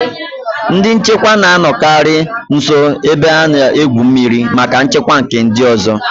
Ndị nchekwa na-anọkarị nso ebe a na-egwu mmiri maka nchekwa nke ndị ọzọ